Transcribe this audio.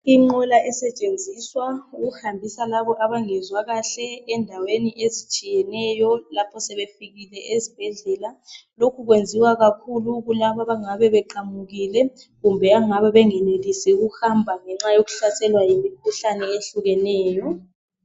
Inqola esetshenziswa ukuhambisa laba abengezwa kahle endaweni ezitshiyeneyo lapho sebefikile ezibhedlela lokhu kwenziwa kakhulu kulaba abangabe beqamukile kumbe ebangabe bengenelisi ukuhamba ngenxa yokuhlaselwa yimikhuhlane ezehlukeneyo.